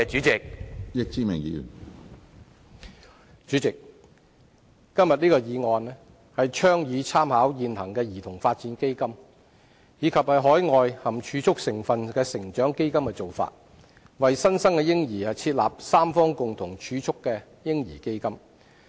主席，今天這項議案倡議參考現行兒童發展基金及海外含儲蓄成分的成長基金的做法，為新生嬰兒設立三方共同儲蓄的"嬰兒基金"。